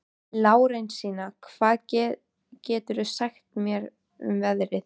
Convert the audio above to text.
Lárensína, hvað geturðu sagt mér um veðrið?